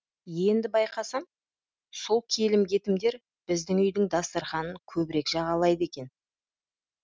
енді байқасам сол келім кетімдер біздің үйдің дастарханын көбірек жағалайды екен